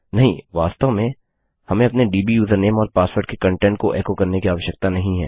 नहीं वास्तव में हमें अपने दब् यूजरनेम और पासवर्ड के कंटेंट को एको करने की आवश्यकता नहीं है